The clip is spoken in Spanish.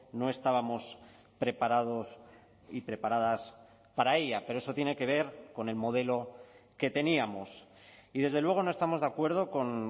no estábamos preparados y preparadas para ella pero eso tiene que ver con el modelo que teníamos y desde luego no estamos de acuerdo con